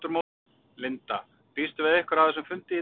Linda: Býstu við einhverju af þessum fundi í dag?